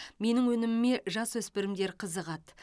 менің өніміме жасөспірімдер қызығады